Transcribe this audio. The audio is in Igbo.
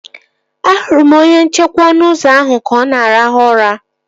Ahụrụ m onye nchekwa ọnụ ụzọ ahụ ka ọ na arahụ ụra